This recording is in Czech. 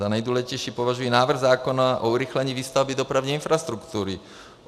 Za nejdůležitější považuji návrh zákona o urychlení výstavby dopravní infrastruktury.